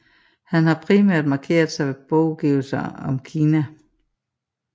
Han har primært markeret sig ved bogudgivelser om Kina